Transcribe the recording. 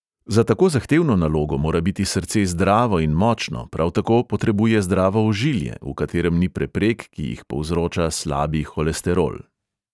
Za tako zahtevno nalogo mora biti srce zdravo in močno, prav tako potrebuje zdravo ožilje, v katerem ni preprek, ki jih povzroča slabi holesterol.